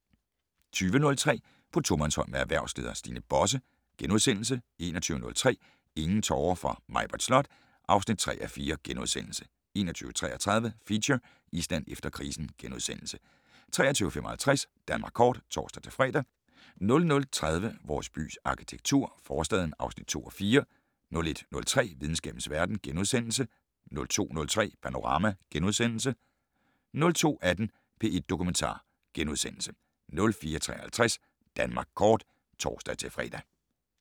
20:03: På tomandshånd med erhvervsleder Stine Bosse * 21:03: Ingen tårer for Maibritt Slot (3:4)* 21:33: Feature: Island efter krisen * 23:55: Danmark kort (tor-fre) 00:30: Vores bys arkitektur - Forstaden (2:4)* 01:03: Videnskabens verden * 02:03: Panorama * 02:18: P1 Dokumentar * 04:53: Danmark kort *(tor-fre)